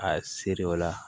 A siri o la